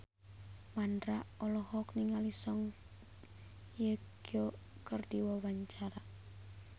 Mandra olohok ningali Song Hye Kyo keur diwawancara